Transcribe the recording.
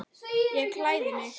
Ég klæði mig.